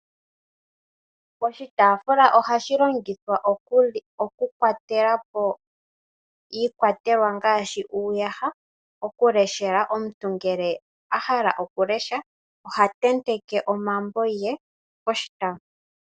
Oshitafula ohashi longithwa okukwatelapo iikwatelwa ngaashi uuyaha, okuleshela omuntu ngele a hala okulesha ta tenteke omambo ge poshitafula.